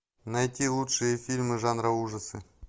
найти лучшие фильмы жанра ужасы